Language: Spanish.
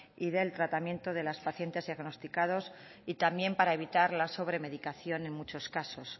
y del tratamiento de los pacientes diagnosticados y también para evitar la sobremedicación en muchos casos